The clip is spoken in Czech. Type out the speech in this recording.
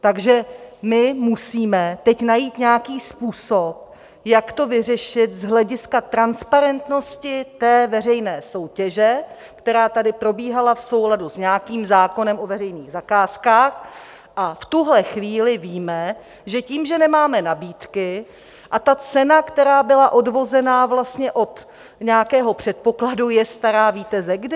Takže my musíme teď najít nějaký způsob, jak to vyřešit z hlediska transparentnosti té veřejné soutěže, která tady probíhala v souladu s nějakým zákonem o veřejných zakázkách, a v tuhle chvíli víme, že tím, že nemáme nabídky a ta cena, která byla odvozena vlastně od nějakého předpokladu, je stará - víte ze kdy?